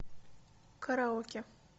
караоке